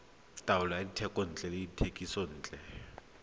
taolo ya dithekontle le dithekisontle